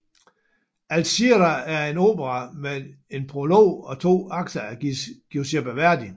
Alzira er en opera med en prolog og to akter af Giuseppe Verdi